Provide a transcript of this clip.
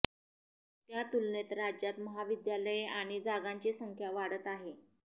त्या तुलनेत राज्यात महाविद्यालये आणि जागांची संख्या वाढत आहे